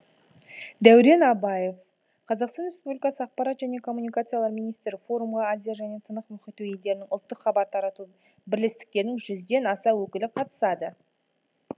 дәурен абаев қазақстан республикасы ақпарат және коммуникациялар министрі форумға азия және тынық мұхиты елдерінің ұлттық хабар тарату бірлестіктерінің жүзден аса өкілі қатысады